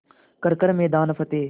कर हर मैदान फ़तेह